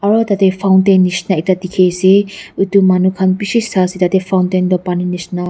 aro tatae fountain nishina ekta dikhiase edu manu khan bishi saase tatae fountain toh paninishina--